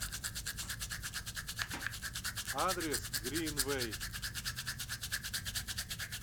адрес гринвей